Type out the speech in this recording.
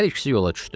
Hər ikisi yola düşdü.